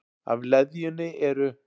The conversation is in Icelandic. Af leðjunni eru